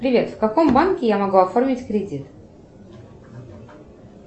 привет в каком банке я могу оформить кредит